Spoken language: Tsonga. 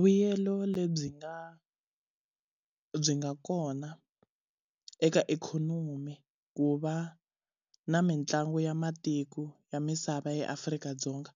Vuyelo lebyi nga byi nga kona eka ikhonomi ku va na mitlangu ya matiko ya misava eAfrika-Dzonga,